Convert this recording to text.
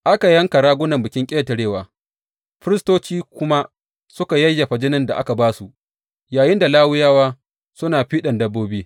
Aka yanka ragunan Bikin Ƙetarewa, firistoci kuma suka yayyafa jinin da aka ba su, yayinda Lawiyawa suna fiɗan dabbobi.